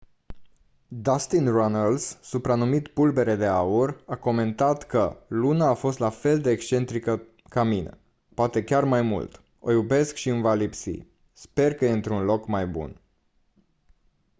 dustin runnels supranumit «pulbere de aur» a comentat că «luna a fost la fel de excentrică ca mine... poate chiar mai mult... o iubesc și îmi va lipsi... sper că e într-un loc mai bun».